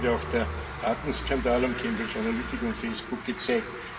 Das hat gerade auch der Datenskandal um Cambridge Analytica und Facebook gezeigt.